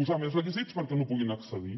posar més requisits perquè no hi puguin accedir